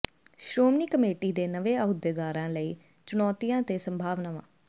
Shiromani committee ਦੇ ਨਵੇਂ ਅਹੁਦੇਦਾਰਾਂ ਲਈ ਚੁਣੌਤੀਆਂ ਤੇ ਸੰਭਾਵਨਾਵਾਂ